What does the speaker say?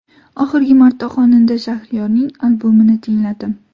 Oxirgi marta xonanda Shahriyorning albomini tingladim.